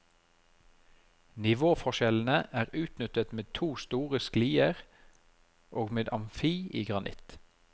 Nivåforskjellene er utnyttet med to store sklier og med amfi i granitt.